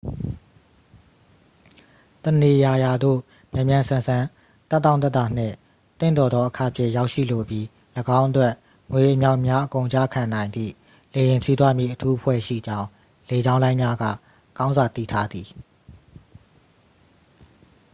တစ်နေရာရာသို့ မြန်မြန်ဆန်ဆန် သက်တောင့်သက်သာနှင့် သင့်တော်သောအခ ဖြင့် ရောက်ရှိလိုပြီး ၎င်းအတွက် ငွေအမြောက်အမြားအကုန်ကျခံနိုင်သည့် လေယာဉ်စီးသွားမည့်အထူးအဖွဲ့ရှိကြောင်း လေကြောင်းလိုင်းများက ကောင်းစွာ သိထားသည်